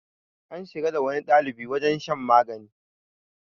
an shiga da wani ɗalibi wajen shan magani